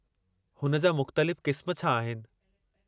हुन जा मुख़्तलिफ़ क़िस्म छा आहिनि?